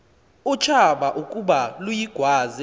utshaba ukuba luyigwaze